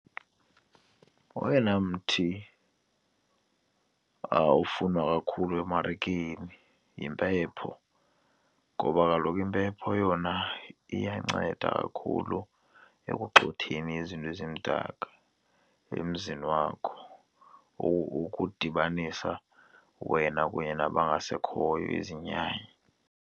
Oyena mthi ufunwa kakhulu emarikeni yimpepho ngoba kaloku impepho yona iyanceda kakhulu ekugxotheni izinto ezimdaka emzini wakho, ukudibanisa wena kunye nabangasekhoyo, izinyanya.